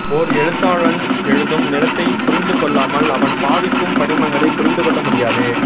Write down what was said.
ஓர் எழுத்தாளன் எழுதும் நிலத்தைப் புரிந்துகொள்ளாமல் அவன் பாவிக்கும் படிமங்களை புரிந்துகொள்ள முடியாது